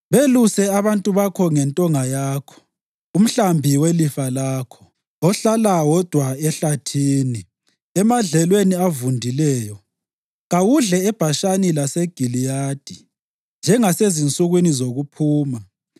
Beluse abantu bakho ngentonga yakho, umhlambi welifa lakho, ohlala wodwa ehlathini emadlelweni avundileyo. Kawudle eBhashani laseGiliyadi njengasezinsukwini zokuphuma.